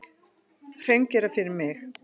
Hreingera fyrir mig.